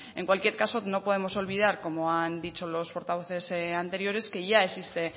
en cualquier caso no podemos olvidad como han dicho los portavoces anteriores que ya existe